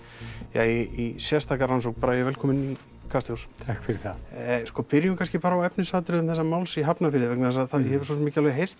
í sérstaka rannsókn bragi velkominn í Kastljós takk fyrir það sko byrjum kannski bara á efnisatriðum þessa máls í Hafnarfirði vegna þess að það hefur svo sem ekki alveg heyrst